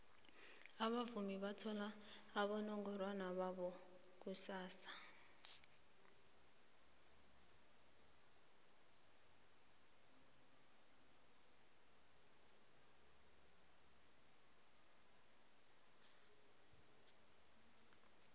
abavumi bathola abonongorwana babo kusasa